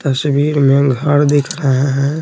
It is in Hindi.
तस्वीर में घर दिख रहा है।